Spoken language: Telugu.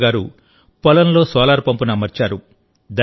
కమల్ గారు పొలంలో సోలార్ పంప్ను అమర్చారు